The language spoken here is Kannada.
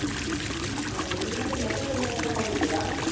ಹೌದು ನೀವು ಮತ್ತೆ metro train ನಲ್ಲೆಲ್ಲ ಹೋಗಿದ್ದೀರಾ?